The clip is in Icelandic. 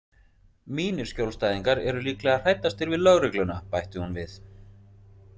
Mínir skjólstæðingar eru líklega hræddastir við lögregluna, bætti hún við.